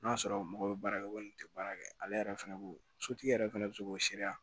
N'a sɔrɔ mɔgɔ bɛ baara kɛ walima ten baara kɛ ale yɛrɛ fɛnɛ b'o sotigi yɛrɛ fɛnɛ bɛ se k'o sereya